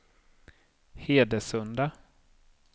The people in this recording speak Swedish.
Hedesunda